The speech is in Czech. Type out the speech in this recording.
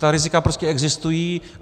Ta rizika prostě existují.